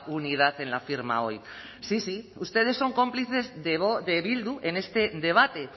unidad en la firma hoy sí sí ustedes son cómplices de bildu en este debate